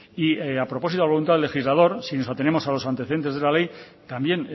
y a propósito de la voluntad del legislador si nos atenemos a los antecedentes de la ley también